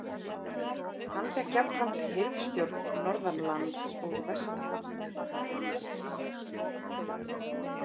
Hann fékk jafnframt hirðstjórn norðan lands og vestan.